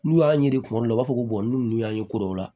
N'u y'a ye kuma dɔw la u b'a fɔ ko n'u y'a ye